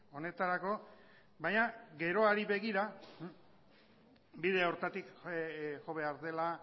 honetarako baina geroari begira bide horretatik jo behar dela